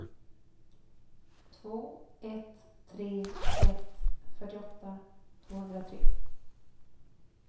två ett tre ett fyrtioåtta tvåhundratre